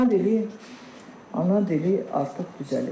Ana dili, ana dili artıq düzəlib.